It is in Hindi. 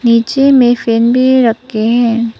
नीचे में फैन भी रखे हैं।